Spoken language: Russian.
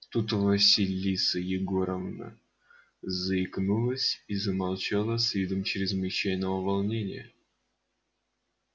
тут василиса егоровна заикнулась и замолчала с видом чрезвычайного волнения